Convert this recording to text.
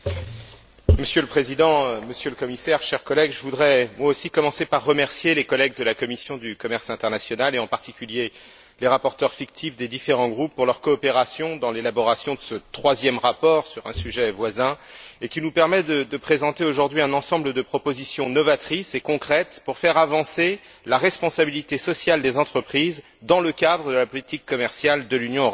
Monsieur le Président, Monsieur le Commissaire, chers collègues, je voudrais moi aussi commencer par remercier les collègues de la commission du commerce international et, en particulier, les rapporteurs fictifs des différents groupes pour leur coopération dans l'élaboration de ce troisième rapport sur un sujet voisin, et qui nous permet de présenter aujourd'hui un ensemble de propositions novatrices et concrètes pour faire avancer la responsabilité sociale des entreprises, dans le cadre de la politique commerciale de l'Union européenne.